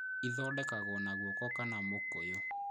Ĩthondekagwo na guoko kana na mũkũyũ